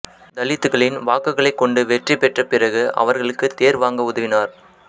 தலித்துகளின் வாக்குகளைக் கொண்டு வெற்றி பெற்ற பிறகு அவர்களுக்கு தேர் வாங்க உதவினார்